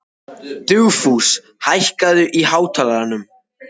Dugfús, hækkaðu í hátalaranum.